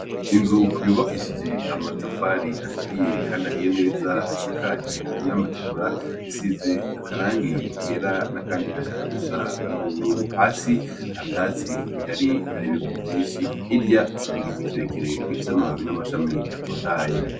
Insu yubakishije amatafari aturiye kandi ahiye neza isakaje n'amategura isize akarangi kera n'akandi gashaka gusa n'ubururu. Hasi nta vyatsi bihari hari ibivu vyinshi, hirya hari igiti kirekire gifise amababi n'amashami atotahaye.